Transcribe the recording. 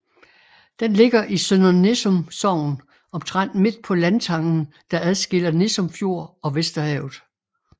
Den ligger i Sønder Nissum Sogn omtrent midt på landtangen der adskiller Nissum Fjord og Vesterhavet